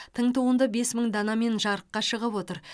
тың туынды бес мың данамен жарыққа шығып отыр